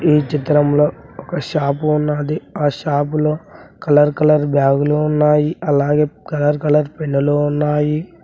ఈ చిత్రంలో ఒక షాపు ఉన్నాది ఆ షాపులో కలర్ కలర్ బ్యాగులు ఉన్నాయి అలాగే కలర్ కలర్ పెన్నులు ఉన్నాయి.